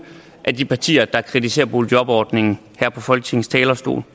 partier der kritiserer boligjobordningen her fra folketingets talerstol